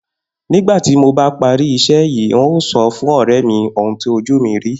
Nígbà tí mob á parí is̩é̩ yìí, n óò so̩ fún ò̩ré̩ mi ohun tí ojú mi ri